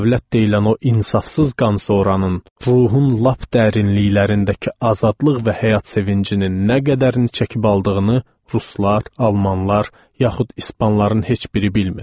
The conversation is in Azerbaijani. Dövlət deyilən o insafsız qan soranın ruhun lap dərinliklərindəki azadlıq və həyat sevincinin nə qədərini çəkib aldığını Ruslar, Almanlar yaxud İspanların heç biri bilmir.